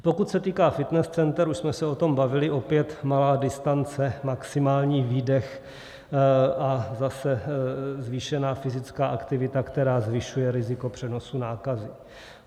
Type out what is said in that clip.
Pokud se týká fitness center, už jsme se o tom bavili, opět malá distance, maximální výdech a zase zvýšená fyzická aktivita, která zvyšuje riziko přenosu nákazy.